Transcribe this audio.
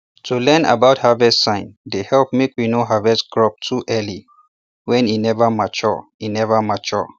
to learn about harvest sign dey help make we no harvest crop too early when e never mature e never mature